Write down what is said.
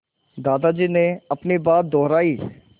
दादाजी ने अपनी बात दोहराई